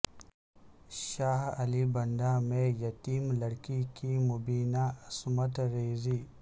شاہ علی بنڈہ میں یتیم لڑکی کی مبینہ عصمت ریزی